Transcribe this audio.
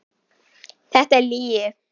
Þetta er lygi.